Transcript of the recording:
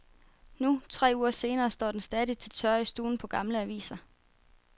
Nu, tre uger senere, står den stadig til tørre i stuen på gamle aviser.